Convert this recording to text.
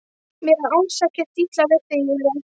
Mér er alls ekkert illa við þig Júlía.